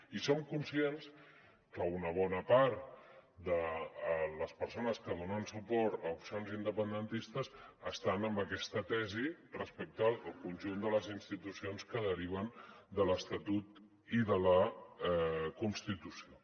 i som conscients que una bona part de les persones que donen suport a opcions independentistes estan en aquesta tesi respecte al conjunt de les institucions que deriven de l’estatut i de la constitució